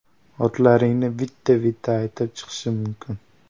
Otlaringni bitta-bitta aytib chiqishim mumkin.